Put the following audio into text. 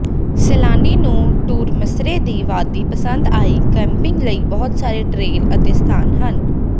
ਸੈਲਾਨੀ ਨੂੰ ਟੂਰਸਮੇਰ ਦੀ ਵਾਦੀ ਪਸੰਦ ਆਈ ਕੈਂਪਿੰਗ ਲਈ ਬਹੁਤ ਸਾਰੇ ਟ੍ਰੇਲ ਅਤੇ ਸਥਾਨ ਹਨ